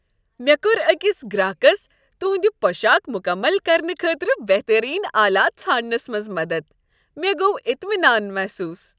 مےٚ کوٚر أکس گراكس تِہند پوشاک مکمل کرنہٕ خٲطرٕ بہترین آلات ژھانڈنس منٛز مدتھ، مےٚ گوٚو اطمِنان محسوس۔